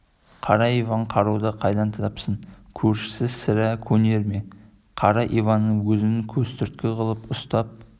қара иван қаруды қайдан тапсын көршісі кузьма сірә көнер ме қара иванның өзін көзтүрткі қылып ұстап